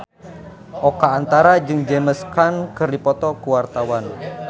Oka Antara jeung James Caan keur dipoto ku wartawan